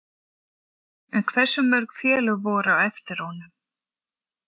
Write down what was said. En hversu mörg félög voru á eftir honum?